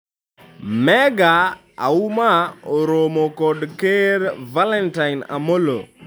Mega Auma oromo kod ker Valentine Amollo